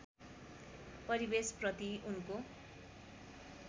परिवेश प्रति उनको